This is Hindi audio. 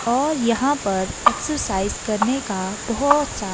और यहां पर एक्सरसाइज करने का बहोत सा--